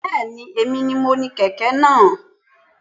Bẹ́ẹ̀ni, èmi ni mo ní kẹ̀kẹ́ náà.